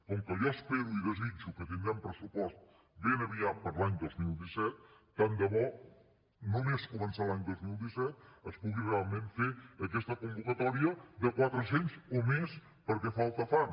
com que jo espero i desitjo que tindrem pressupost ben aviat per a l’any dos mil disset tant de bo només començar l’any dos mil disset es pugui realment fer aquesta convocatòria de quatre cents o més perquè falta fan